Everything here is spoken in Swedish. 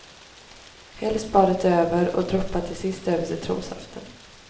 Häll spadet över och droppa till sist över citronsaften.